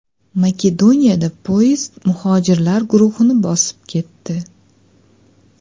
Makedoniyada poyezd muhojirlar guruhini bosib ketdi.